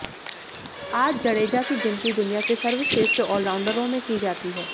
आज जडेजा की गिनती दुनिया के सर्वश्रेष्ठ ऑलराउंडरों में की जाती है